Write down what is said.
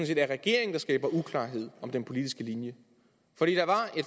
set er regeringen der skaber uklarhed om den politiske linje